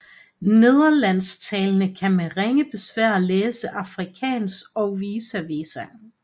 Nederlandstalende kan med ringe besvær læse afrikaans og vice versa